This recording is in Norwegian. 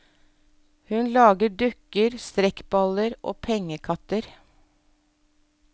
Hun lager dukker, strekkballer og pengekatter.